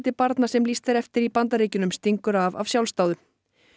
barna sem lýst er eftir í Bandaríkjunum stingur af af sjálfsdáðum